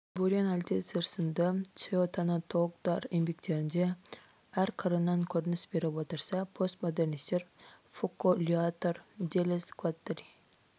бурен альтицер сынды теотанатологтар еңбектерінде әр қырынан көрініс беріп отырса постмодернистер фуко лиотар делез гваттари